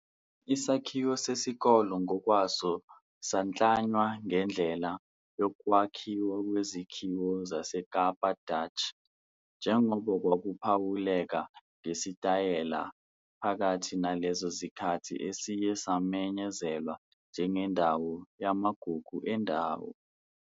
Isakhiwo sesikole ngokwaso saklanywa ngendlela yokwakhiwa kwezakhiwo zaseKapa Dutch njengoba kwakuphawuleka ngesitayela phakathi nalezo zikhathi esiye samenyezelwa njengendawo yamagugu endawo.